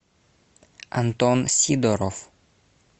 антон сидоров